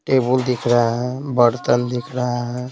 Table दिख रहा है बर्तन दिख रहा है।